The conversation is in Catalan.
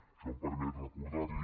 això em permet recordar li